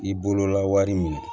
I bolola wari minɛ